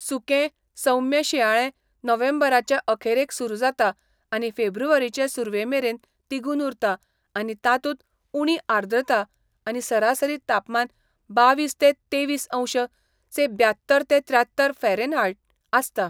सुकें, सौम्य शिंयाळें नोव्हेंबराचे अखेरेक सुरू जाता आनी फेब्रुवारीचे सुरवेमेरेन तिगून उरता आनी तातूंत उणी आर्द्रता आनी सरासरी तापमान बावीस ते तेवीसअंश से ब्यात्तर ते त्र्यात्तर फॅरॅनहायट आसता.